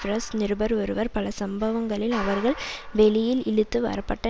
press நிருபர் ஒருவர் பல சம்பவங்களில் அவர்கள் வெளியில் இழுத்து வரப்பட்ட